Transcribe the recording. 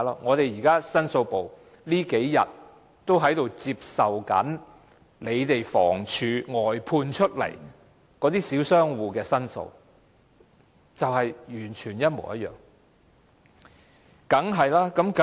我們的申訴部近日也收到房署外判設施的小商戶的申訴，情況完全一模一樣。